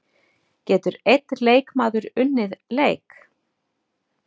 Getur einn leikmaður unnið leik?